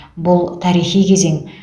бұл тарихи кезең